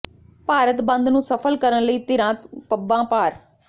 ਭਾਰਤ ਬੰਦ ਨੂੰ ਸਫਲ ਕਰਨ ਲਈ ਧਿਰਾਂ ਪੱਬਾਂ ਭਾਰ